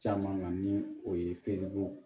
Caman na ni o ye